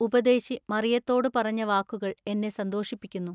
ഉപദേശി മറിയത്തോടു പറഞ്ഞ വാക്കുകൾ എന്നെ സന്തോഷിപ്പിക്കുന്നു.